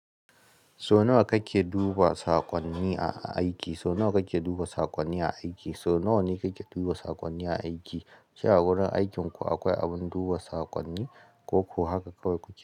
So nawa kake duba sakonni a aiki? So nawa kake duba sakonni a aiki? So nawa ne kake duba sakonni a aiki? Shin a wurin aikinku akwai abin duba saƙonni, ko kuwa haka kawai kuke?